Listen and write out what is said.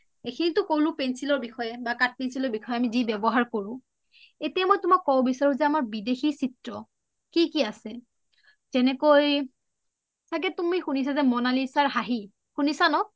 এইখিনিটো কলো pencil ৰ বিষয়ে বা কাঠ pencil ৰ বিষয়ে যি ব্যৱহাৰ কৰো এতিয়া মই তুমাক কব বিচাৰো বিদেশি চিএ কি কি আছে যেনেকৈ, তুমি শুনিছা যে মনালিশা ৰ হাঁহি শুনিছা ন?